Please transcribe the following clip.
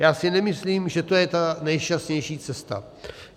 Já si nemyslím, že to je ta nejšťastnější cesta.